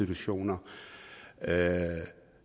det så mener